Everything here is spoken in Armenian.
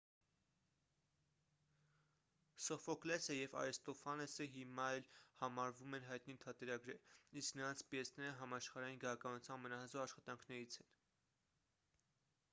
սոֆոկլեսը և արիստոֆանեսը հիմա էլ համարվում են հայտնի թատերագրեր իսկ նրանց պիեսները համաշխարհային գրականության ամենահզոր աշխատանքներից են